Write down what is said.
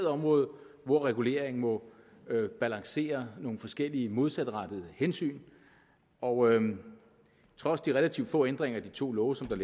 område hvor regulering må balancere nogle forskellige modsatrettede hensyn og trods de relativt få ændringer i de to love som der